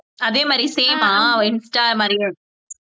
அதே மாதிரி same ஆஹ் insta மாதிரி